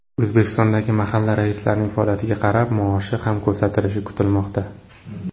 O‘zbekistondagi mahalla raislarining faoliyatiga qarab, maoshi ham ko‘tarilishi kutilmoqda.